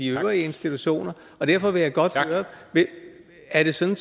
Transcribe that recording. øvrige institutioner derfor vil jeg godt høre er det sådan